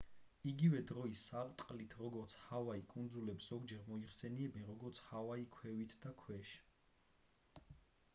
იგივე დროის სარტყლით როგორც ჰავაი კუნძულებს ზოგჯერ მოიხსენიებენ როგორც ჰავაი ქვევით და ქვეშ